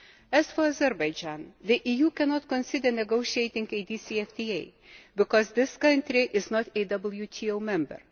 As for Azerbaijan, the EU cannot consider negotiating a DCFTA because this country is not a WTO member.